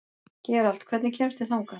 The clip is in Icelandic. Gerald, hvernig kemst ég þangað?